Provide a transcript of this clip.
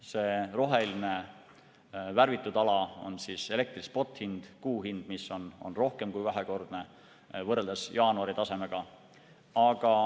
See roheline värvitud ala on elektri spothind, kuu hind, mis on rohkem kui kahekordne võrreldes jaanuari tasemega.